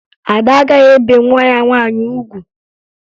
Ada agaghị ebe nwa ya nwaanyị ugwu